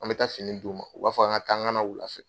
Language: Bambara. An bɛ taa fini d' u ma, u b'a fɔ an ka taa an ka na wula fɛ.